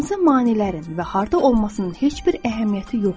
Hansı maneələrin və harda olmasının heç bir əhəmiyyəti yoxdur.